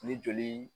Ni joli